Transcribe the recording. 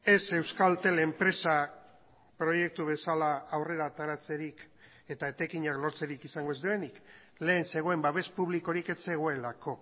ez euskaltel enpresa proiektu bezala aurrera ateratzerik eta etekinak lortzerik izango ez duenik lehen zegoen babes publikorik ez zegoelako